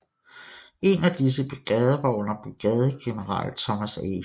En af disse brigader var under brigadegeneral Thomas A